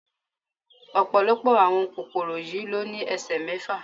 Ọ̀pọ̀lọpọ̀ àwọn kòkòrò yìí ló ní ẹsẹ mẹ́fà.